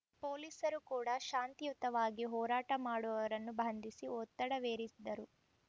ಪೊಲೀಸರು ಕೂಡ ಶಾಂತಿಯುತವಾಗಿ ಹೋರಾಟ ಮಾಡುವವರನ್ನು ಬಂಧಿಸಿ ಒತ್ತಡವೇರಿದರು